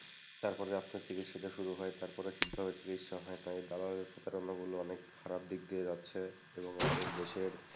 তারপরে আপনার চিকিৎসাটা শুরু হয়, তারপরে ঠিকভাবে চিকিৎসা হয়না। এই দালালের প্রতারণাগুলো অনেক খারাপ দিক দিয়ে যাচ্ছে এবং আমাদের দেশের,